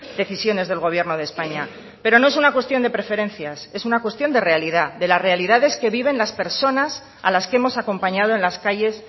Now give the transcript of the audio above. decisiones del gobierno de españa pero no es una cuestión de preferencias es una cuestión de realidad de las realidades que viven las personas a las que hemos acompañado en las calles